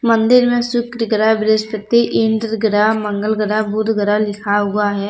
मंदिर में शुक्र ग्रह बृहस्पति इंद्र ग्रह मंगल ग्रह बुध ग्रह लिखा हुआ है।